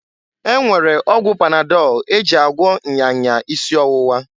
E nwere ọgwụ panadọl e ji agwọ nya nya isi owuwa.